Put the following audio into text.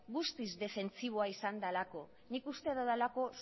guztiz defentsiboa izan delako nik uste dudalako